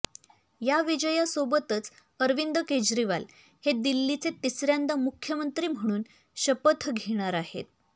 या विजयासोबतच अरविंद केजरीवाल हे दिल्लीचे तिसऱ्यांदा मुख्यमंत्री म्हणून शपथ घेणार आहेत